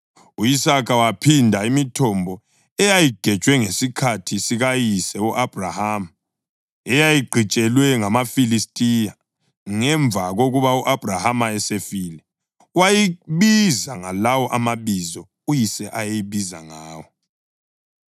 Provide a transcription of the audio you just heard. U-Isaka wayiphanda imithombo eyayigejwe ngesikhathi sikayise u-Abhrahama, eyayigqitshelwe ngamaFilistiya ngemva kokuba u-Abhrahama esefile, wayibiza ngalawo mabizo uyise ayeyibiza ngawo.